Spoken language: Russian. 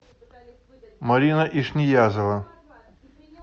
марина ишниязова